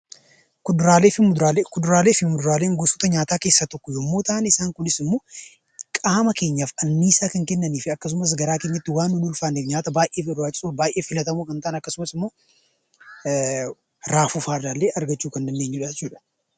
Kuduraalee fi muduraalee Kuduraalee fi muduraalee gosoota nyaataa keessaa tokko yommuu ta'an isaan kunis immoo qaama keenyaaf annisaa kan kennan fi akkasumas garaa keenyatti waan nun ulfaanne nyaata baay'ee barbaachisoof baay'ee filatamoo kan ta'an akkasumas immoo Raafuu fa'a irraallee argachuu kan dandeenyu dha jechuu dha.